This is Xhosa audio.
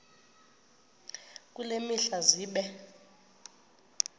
kule mihla zibe